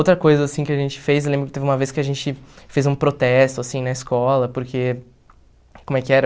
Outra coisa, assim, que a gente fez, eu lembro que teve uma vez que a gente fez um protesto, assim, na escola, porque... Como é que era?